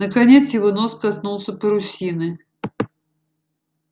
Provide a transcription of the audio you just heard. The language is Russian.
наконец его нос коснулся парусины